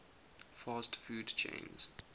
fast food chains